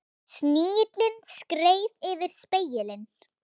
Snigillinn skreið yfir spegilinn.